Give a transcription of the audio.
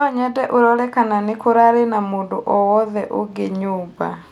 no nyende ũrore kana nĩ kũrari na mũndũ o wothe ũngi nyũmba